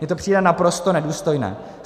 Mně to přijde naprosto nedůstojné.